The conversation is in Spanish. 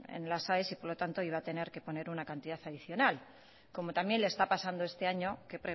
en las aes y por lo tanto iba a tener que poner una cantidad adicional como también le está pasando este año que